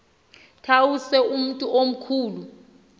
tawuse umntu omkhulu